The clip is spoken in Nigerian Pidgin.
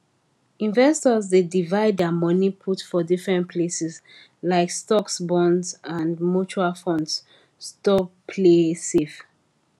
investors dey divide their money put for different places like stocks bonds and mutual funds sto play save